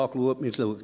Man überlegt sich: